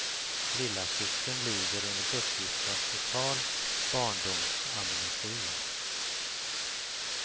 Lillasystern lider enligt uppgift av total barndomsamnesi.